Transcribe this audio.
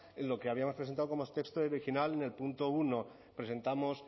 lo que habíamos presentado como el texto original en el punto uno presentamos